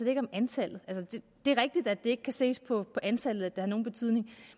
ikke om antallet det er rigtigt at det ikke kan ses på antallet at det har nogen betydning